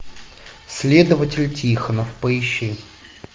следователь тихонов поищи